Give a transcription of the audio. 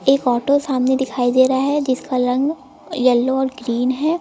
एक ऑटो सामने दिखाई दे रहा है जिसका रंग येलो और ग्रीन है।